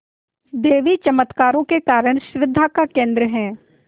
देवी चमत्कारों के कारण श्रद्धा का केन्द्र है